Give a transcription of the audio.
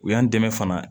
U y'an dɛmɛ fana